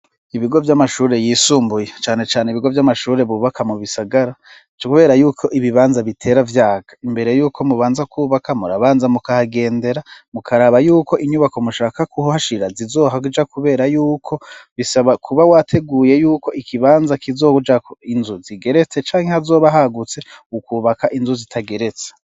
Ibigo by'amashuri yisumbuye cane cane ibigo by'amashuri bubaka mu bisagara kubera yuko ibibanza bitera vyaga imbere yuko mubanza kubaka murabanza mu kagendera mukaraba yuko inyubako mushaka kuhashira zizohja kubera yuko bisaba kuba wateguye yuko ikibanza kizouja inzu zigeretse canke hazoba hagutse ukubaka inzu zitageretse.